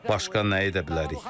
Başqa nə edə bilərik?